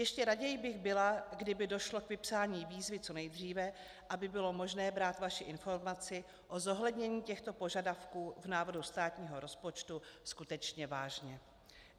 Ještě raději bych byla, kdyby došlo k vypsání výzvy co nejdříve, aby bylo možné brát vaši informaci o zohlednění těchto požadavků v návrhu státního rozpočtu skutečně vážně.